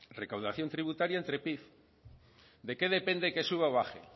recaudación tributaria entre pib de qué depende que suba o baje